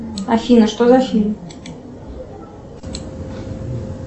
афина что за фильм